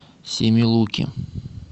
семилуки